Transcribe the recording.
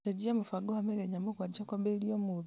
cenjia mũbango wa mĩthenya mũgwanja kwambĩrĩria ũmũthĩ